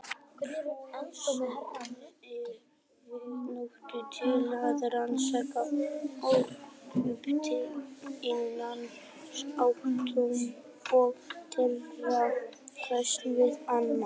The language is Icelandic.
Púlsarnir eru því notaðir til að rannsaka orkuskipti innan atóma og þeirra hvers við annað.